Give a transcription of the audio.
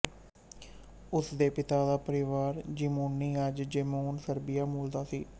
ਉਸ ਦੇ ਪਿਤਾ ਦਾ ਪਰਿਵਾਰ ਜ਼ੀਮੋਨੀ ਅੱਜ ਜੇਮੁਨ ਸਰਬੀਆ ਮੂਲ ਦਾ ਸੀ